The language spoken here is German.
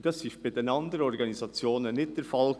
Das war bei den anderen Organisationen nicht der Fall.